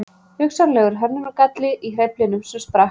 Hugsanlegur hönnunargalli í hreyflinum sem sprakk